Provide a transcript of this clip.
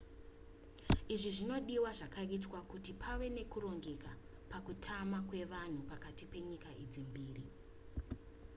izvi zvinodiwa zvakaitwa kuti pave nekurongeka pakutama kwevanhu pakati penyika idzi mbiri